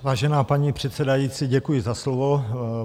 Vážená paní předsedající, děkuji za slovo.